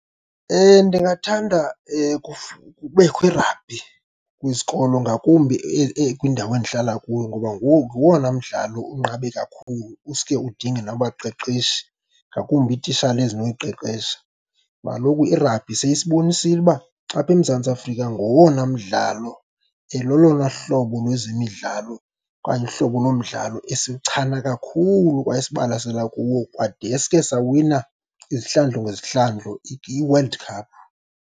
Ndingathanda kubekho i-rugby kwizikolo, ngakumbi kwindawo endihlala kuyo, ngoba nguwo ngowona mdlalo unqabe kakhulu usuke udinge nabaqeqeshi, ngakumbi iititshala ezinokuyiqeqesha. Ngoba kaloku i-rugby seyisibonisile uba apha eMzantsi Afrika ngowona mdlalo, lolona hlobo lwezemidlalo okanye uhlobo lomdlalo esiwuchana kakhulu kwaye esibalasela kuwo kwadeske sawina izihlandlo ngezihlandlo iWorld Cup.